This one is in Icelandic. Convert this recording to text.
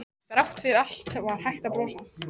Þrátt fyrir allt var hægt að brosa.